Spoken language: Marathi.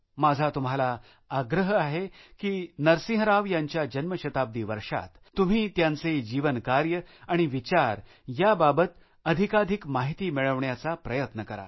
माझा तुम्हाला आग्रह आहे की नरसिंह राव यांच्या जन्मशताब्दी वर्षात तुम्ही त्यांचे जीवनकार्य आणि विचार याबाबत अधिकाधिक माहिती मिळवण्याचा प्रयत्न करा